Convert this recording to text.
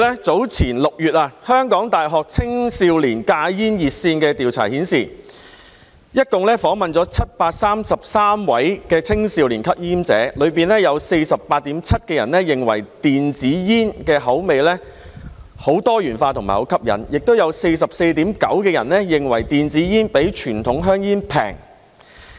早前6月香港大學青少年戒煙熱線的調查合共訪問了733位青少年吸煙者，當中有 48.7% 認為電子煙的口味很多元化和很吸引，亦有 44.9% 認為電子煙比傳統香煙便宜。